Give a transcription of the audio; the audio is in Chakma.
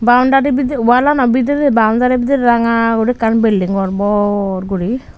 boundari bidire wallanaw bidire boundari bidire ranga guri ekkan bilding gor bor guri.